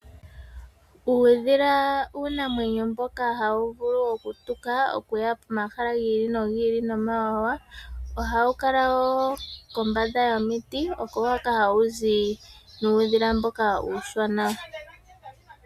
Uudhila uunamwenyo mboka hawu vulu okutuka, okuya pomahala gi ili nogi ili nomawawa. Ohawu kala wo kombamda yomiti, oko hoka hawu zi nuudhila mboka uushona.